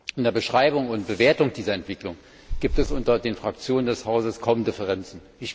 In der Beschreibung und Bewertung dieser Entwicklung gibt es unter den Fraktionen des Hauses kaum Differenzen.